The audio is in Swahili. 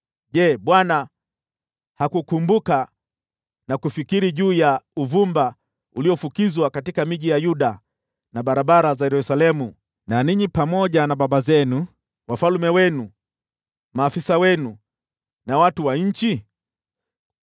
“Je, Bwana hakukumbuka na kufikiri juu ya uvumba uliofukizwa katika miji ya Yuda na barabara za Yerusalemu na ninyi pamoja na baba zenu, wafalme wenu, maafisa wenu na watu wa nchi?